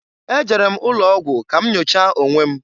Ejere m ụlọogwụ ka m nyochaa onwe m.